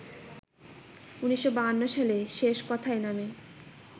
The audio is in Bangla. ১৯৫২ সালে ‘শেষ কোথায়’ নামে